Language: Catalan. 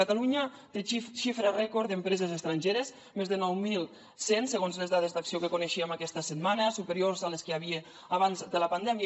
catalunya té xifres rècord d’empreses estrangeres més de nou mil cent segons les dades d’acció que coneixíem aquesta setmana superiors a les que hi havia abans de la pandèmia